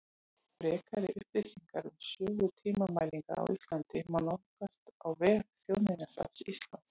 Frekari upplýsingar um sögu tímamælinga á Íslandi má nálgast á vef Þjóðminjasafns Íslands.